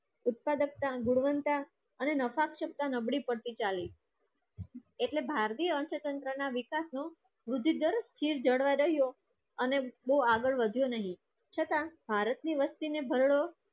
ઉત્પાદકતા ગુણવત્તા અને નફાક્ષકતા નબળી પરથી ચાલી એટલે ભારતીય અર્થતંત્રના વિકાસનો વૃદ્ધિદર સ્થિર જડવાઇ રહ્યો. અને બહુ આગળ વધ્યો નહીં. છતાં ભારતની વસ્તીને ભરડો